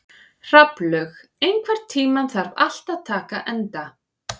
Hrafnlaug, einhvern tímann þarf allt að taka enda.